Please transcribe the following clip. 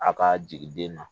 A ka jigi den na